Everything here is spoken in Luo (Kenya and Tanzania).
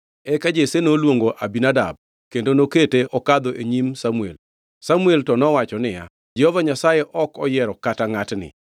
Eka Jesse noluongo Abinadab kendo nokete okadho e nyim Samuel. Samuel to nowacho niya, “Jehova Nyasaye ok oyiero kata ngʼatni.”